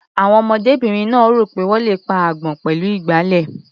Àwọn ọmọdébìnrin náà rò pé wọ́n le pa agbọ́n pẹ̀lú ìgbálẹ̀.